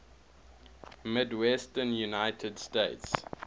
midwestern united states